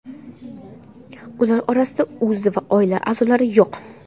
Ular orasida o‘zi va oila a’zolari yo‘q.